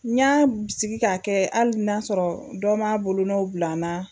N y'a bisigi k'a kɛ hali n'a sɔrɔ dɔ m'a bolonɔw bila n na